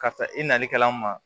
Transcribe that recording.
Karisa i nalikɛlaw ma